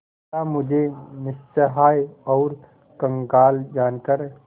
क्या मुझे निस्सहाय और कंगाल जानकर